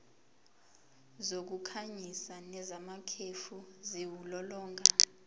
zokukhanyisa nezamakhefu ziwulolonga